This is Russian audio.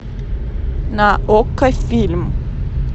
на окко фильм